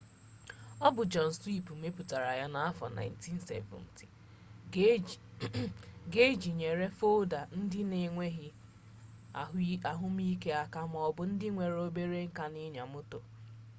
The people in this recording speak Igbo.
ọ bụ john smith mepụtara ya n'afọ 1970 ga iji nyere folda ndị na-enweghi ahụmihe aka maọbụ ndị nwere obere nka n'ịnya moto